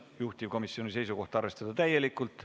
Juhtivkomisjoni seisukoht on arvestada seda täielikult.